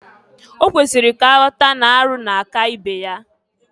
Okwesiri ka aghọta n'arụ na-aka ibe ya.